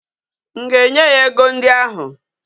M ga-enye ya ego ndi ahu?